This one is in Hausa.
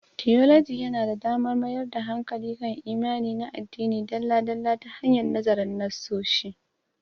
Tiyoloji yana ba da damar mayar da hankali kan imani na addini dalla-dalla ta hanyar nazarin nassosi